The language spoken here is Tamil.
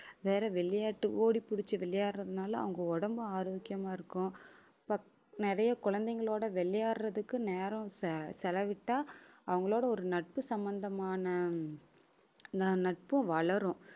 வேற விளையாட்டு ஓடி பிடிச்சு விளையாடுறதுனால அவங்க உடம்பும் ஆரோக்கியமா இருக்கும். ஆஹ் நிறைய குழந்தைங்களோட விளையாடுறதுக்கு, நேரம் செ~ செலவிட்டா அவங்களோட ஒரு நட்பு சம்பந்தமான ஆஹ் நட்பு வளரும்.